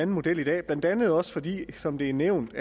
model i dag blandt andet også fordi som det er nævnt